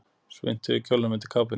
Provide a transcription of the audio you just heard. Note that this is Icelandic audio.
Svuntu yfir kjólnum undir kápunni.